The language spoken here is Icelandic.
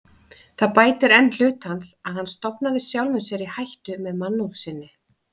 Það bætir enn hlut hans, að hann stofnaði sjálfum sér í hættu með mannúð sinni.